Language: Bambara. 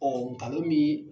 nkalon min